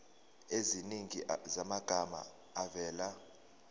eziningi zamagama avela